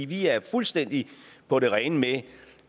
vi er fuldstændig på det rene med